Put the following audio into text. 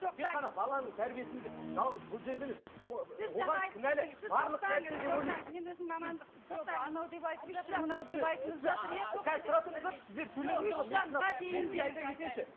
тек қана баланың тәрбиесіне де жалғыз бұл жерде емес